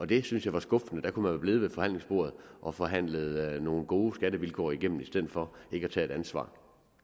det synes jeg var skuffende der kunne været blevet ved forhandlingsbordet og forhandlet nogle gode skattevilkår igennem i stedet for ikke at tage et ansvar